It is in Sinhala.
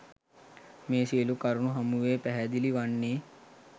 මේ සියලු කරුණු හමුවේ පැහැදිලි වන්නේ